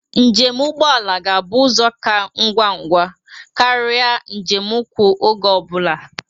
Njem ụgbọ ala ga-abụ ụzọ ka ngwangwa karia njem ụkwụ oge ọ bụla.